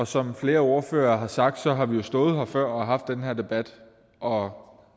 som flere ordførere har sagt har vi jo stået her før og har haft den her debat og